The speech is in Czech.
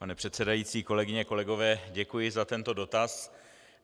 Pane předsedající, kolegyně, kolegové, děkuji za tento dotaz.